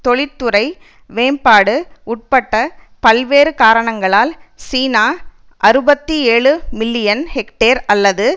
தொழிற்துறை மேம்பாடு உட்பிட்ட பல்வேறு காரணங்களால் சீனா அறுபத்தி ஏழு மில்லியன் ஹெக்டேர் அல்லது